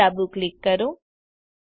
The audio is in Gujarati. Themeપર ડાબું ક્લિક કરો